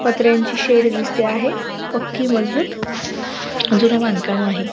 पत्र्यांचे shed दिसते आहे पक्की मजबूत जून बांधकाम आहे.